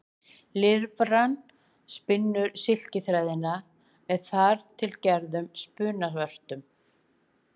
Lirfan spinnur silkiþræðina með þar til gerðum spunavörtum.